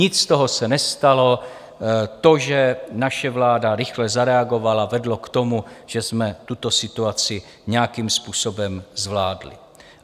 Nic z toho se nestalo, to, že naše vláda rychle zareagovala, vedlo k tomu, že jsme tuto situaci nějakým způsobem zvládli.